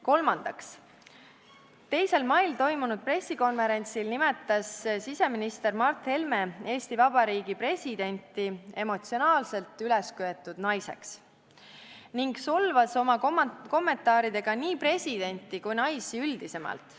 Kolmandaks, 2. mail toimunud pressikonverentsil nimetas siseminister Mart Helme Eesti Vabariigi presidenti emotsionaalselt ülesköetud naiseks ning solvas oma kommentaaridega nii presidenti kui ka naisi üldisemalt.